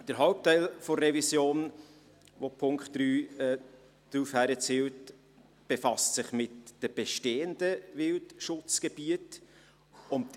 Der Hauptteil der Revision, auf welche der Punkt 3 abzielt, befasst sich mit den bestehenden Wildschutzgebieten.